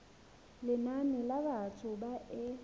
lenane la batho ba e